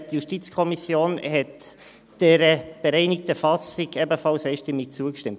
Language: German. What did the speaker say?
Die JuKo hat dieser bereinigten Fassung ebenfalls einstimmig zugestimmt.